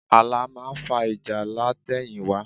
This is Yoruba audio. Ààlà máa ń fa ìjà látẹ̀yìnwá